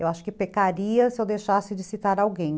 Eu acho que pecaria se eu deixasse de citar alguém.